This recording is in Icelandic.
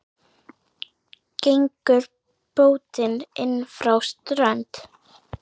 Gengur bótin inn frá strönd.